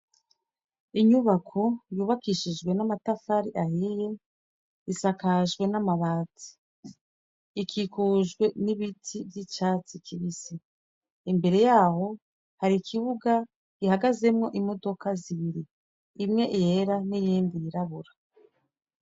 Inyubako yubakishijwe n'amatafari ahiye, isakajwe n'amabati. Ikikujwe n'ibiti vy'icatsi kibisi. Imbere ya ho, hari ikibuga gihagazemwo imodoka zibiri. imwe yera n'iyindi yirabura.